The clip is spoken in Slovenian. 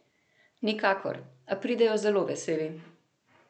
Nikakor, a pridejo zelo veseli.